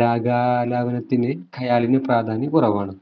രാഗാലാപനത്തിന് ഖയാലിനു പ്രാധാന്യം കുറവാണു